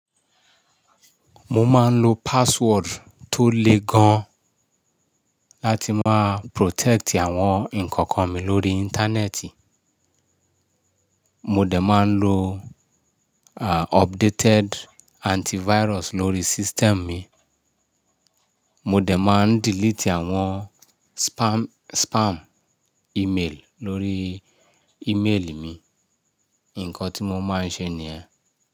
Mo máa ń lo password tó le gan láti máa protect àwọn nǹkan kan mi lórí Íńtánẹ́ẹ̀tì. Mo dẹ̀ máa ń lo updated antivirus lórí system mi. Mo dẹ̀ máa ń delete àwọn spam email lórí email mi. Ǹkan tí mo máa ń ṣe ni ẹ́.